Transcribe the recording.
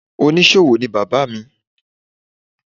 Onísòwò ni Bàbá mi.